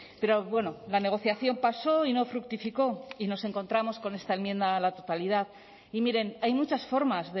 pero bueno la negociación pasó y no fructificó y nos encontramos con esta enmienda a la totalidad y miren hay muchas formas